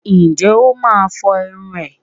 Ǹjẹ́ ó máa fọrun ẹ̀?